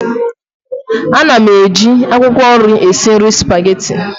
Ana m eji akwụkwọ nri esi nri Supagetii